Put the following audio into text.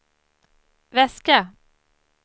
väska